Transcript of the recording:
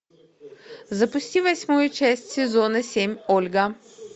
запусти восьмую часть сезона семь ольга